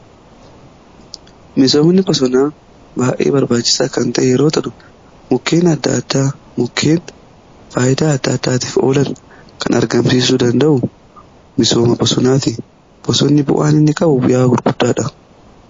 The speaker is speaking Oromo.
misoomni bosonaa baayyee barbaachisaa kan ta'e yoo ta'u mukkeen adda addaa mukkeen faayidaa adda addaatiif oolan kan argamsiisuu danda'u misooma bosonaati. bosonni bu'aan inni qabu bu'aa guddaadha.